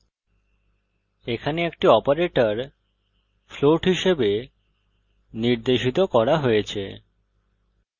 এখানে একটি operator float হিসাবে নির্দেশিত করা হয়েছে